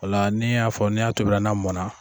Ola n'i y'a fɔ n' y'a tobila na mɔnna.